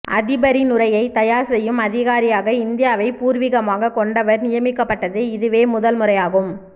அதிபரின் உரையை தயார் செய்யும் அதிகாரியாக இந்தியாவை பூர்வீகமாக கொண்டவர் நியமிக்கப்பட்டது இதுவே முதல் முறையாகும்